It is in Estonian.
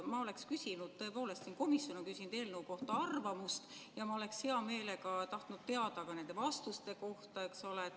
Ma oleks küsinud, tõepoolest, selle kohta, et komisjon on küsinud eelnõu kohta arvamust, ja ma oleksin hea meelega tahtnud teada ka nende vastuste kohta, eks ole.